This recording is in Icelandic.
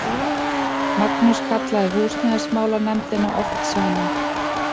Magnús kallaði húsnæðismálanefndina oft saman.